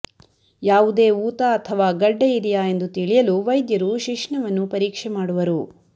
ಯಾವುದೇ ಊತ ಅಥವಾ ಗಡ್ಡೆ ಇದೆಯಾ ಎಂದು ತಿಳಿಯಲು ವೈದ್ಯರು ಶಿಶ್ನವನ್ನು ಪರೀಕ್ಷೆ ಮಾಡುವರು